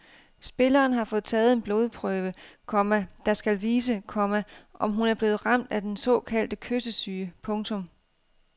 Spilleren har fået taget en blodprøve, komma der skal vise, komma om hun er blevet ramt af den såkaldte kyssesyge. punktum